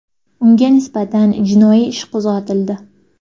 Unga nisbatan jinoiy ish qo‘zg‘atildi.